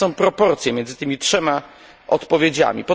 Jakie są proporcje między tymi trzema odpowiedziami?